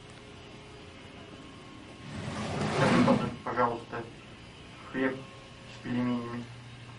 закажи пожалуйста хлеб с пельменями